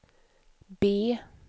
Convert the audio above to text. B